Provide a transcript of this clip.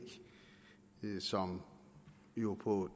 som jo på